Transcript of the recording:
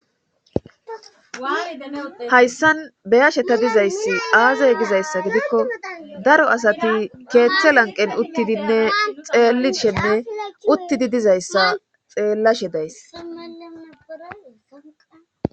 hayssan beyasheta dizayssi aazey gizayssa gidikko daro asati keeththe lanqen uttidinne xeellishenne uttidi dizayssa xeellashe days